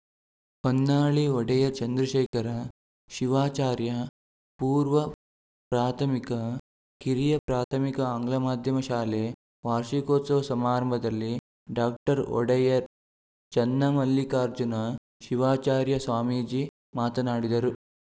ಹೊನ್ನಾಳಿ ಒಡೆಯ ಚಂದ್ರಶೇಖರ ಶಿವಾಚಾರ್ಯ ಪೂರ್ವ ಪ್ರಾಥಮಿಕ ಕಿರಿಯ ಪ್ರಾಥಮಿಕ ಆಂಗ್ಲ ಮಾಧ್ಯಮ ಶಾಲೆ ವಾರ್ಷಿಕೋತ್ಸವ ಸಮಾರಂಭದಲ್ಲಿ ಡಾಕ್ಟರ್ ಒಡೆಯರ್‌ ಚನ್ನಮಲ್ಲಿಕಾರ್ಜುನ ಶಿವಾಚಾರ್ಯ ಸ್ವಾಮೀಜಿ ಮಾತನಾಡಿದರು